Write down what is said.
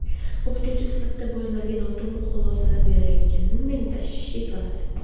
O‘qituvchi sifatida bolalarga noto‘g‘ri xulosalar berayotgani meni tashvishga soladi.